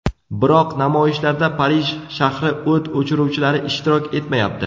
Biroq namoyishlarda Parij shahri o‘t o‘chiruvchilari ishtirok etmayapti.